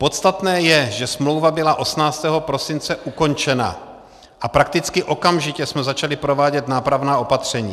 Podstatné je, že smlouva byla 18. prosince ukončena a prakticky okamžitě jsme začali provádět nápravná opatření.